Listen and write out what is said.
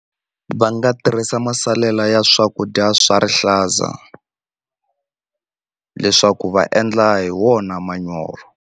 Va nga tirhisa masalela ya swakudya swa rihlaza leswaku va endla hi wona manyoro.